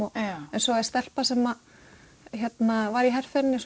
en svo er stelpa sem að var í herferðinni